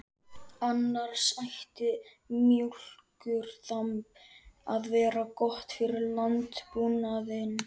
Annars ætti mjólkurþamb að vera gott fyrir landbúnaðinn.